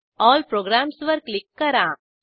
all प्रोग्राम्सवर click करा